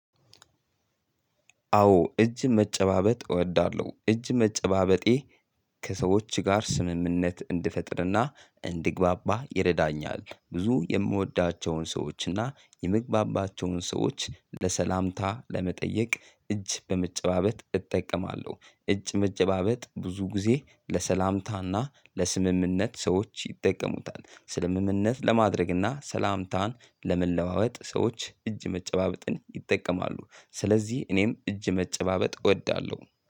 አዎ እጅ መጨባበጥ እወዳለሁ። እጅ መጨባበጤ ከሰዎች ጋር ስምምነት እንድፈጥርና እንድግበባ ይረዳኛል ብዙ የምወደቸውን ሰዎች እና የመግባባቸውን ሰዎች ለሰላምታ ለመጠየቅ እጅ በመጨባበጥ እጠቀማለሁ። እጅ መጨባበጥ ብዙ ጊዜ ለሰላምታና ለስምምነት ሰዎች ይጠቀሙታል። ስ ምምነት ለማድረግና ሰላምታን ለመለዋወጥ ሰዎች እጅ መጨባበጥን ይጠቀማሉ። ስለዚህ እኔም እጅ መጨባበጥ እወዳለሁ።